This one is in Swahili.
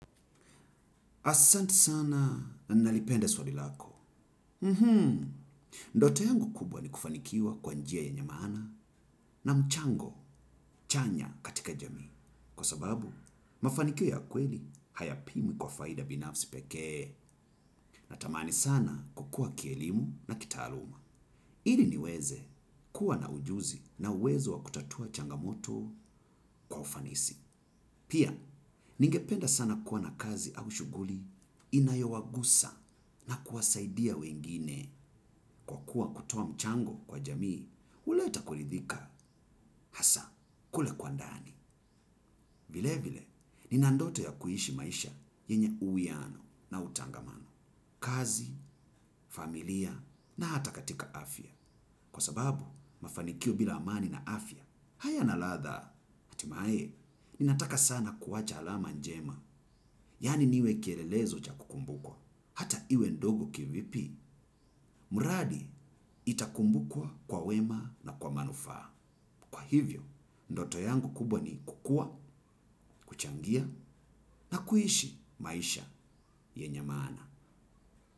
Asanti sana nalipenda swadilako. Ndoto yangu kubwa ni kufanikiwa kwa njia yenye maana na mchango chanya katika jamii. Kwa sababu, mafanikioa ya kweli hayapimwi kwa faida binafsi pekee. Natamani sana kukua kielimu na kitaaluma. Ili niweze kuwa na ujuzi na uwezo wa kutatua changamoto kwa ufanisi. Pia, ningependa sana kuwa na kazi au shughuli inayowagusa na kuwasaidia wengine kwa kuwa kutoa mchango kwa jamii, huleta kuridhika hasa, kule kwa ndani. Vile vile, ni nandoto ya kuhishi maisha yenye uwiano na utangamano, kazi, familia na hata katika afya. Kwa sababu, mafanikio bila amani na afya hayana ladha, hatimaye, ninataka sana kuwacha alama njema. Yani niwe kielelezo cha kukumbuko hata iwe ndogo kivipi, mradi itakumbukwa kwa wema na kwa manufaa. Kwa hivyo, ndoto yangu kubwa ni kukua, kuchangia na kuishi maisha yenye maana.